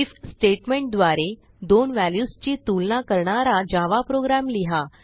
if statement द्वारे दोन व्हॅल्यूजची तुलना करणारा जावा प्रोग्राम लिहा